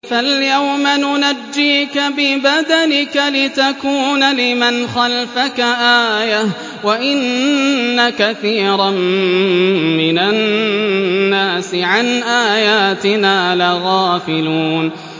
فَالْيَوْمَ نُنَجِّيكَ بِبَدَنِكَ لِتَكُونَ لِمَنْ خَلْفَكَ آيَةً ۚ وَإِنَّ كَثِيرًا مِّنَ النَّاسِ عَنْ آيَاتِنَا لَغَافِلُونَ